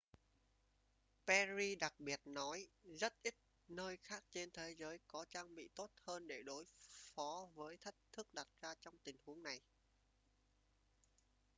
perry đặc biệt nói rất ít nơi khác trên thế giới có trang bị tốt hơn để đối phó với thách thức đặt ra trong tình huống này